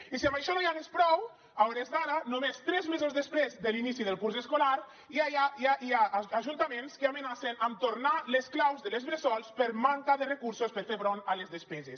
i si amb això no n’hi hagués prou a hores d’ara només tres mesos després de l’inici del curs escolar ja hi ha ajuntaments que amenacen amb tornar les claus de les bressols per manca de recursos per fer front a les despeses